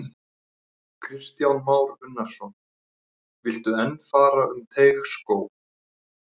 Kristján Már Unnarsson: Viltu enn fara um Teigsskóg?